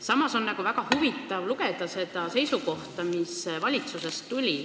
Samas on väga huvitav lugeda nende seisukohta.